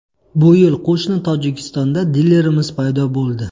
Bu yil qo‘shni Tojikistonda dilerimiz paydo bo‘ldi.